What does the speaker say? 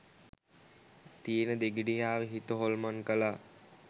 තියෙන දෙගිඩියාව හිත හොල්මන් කලා.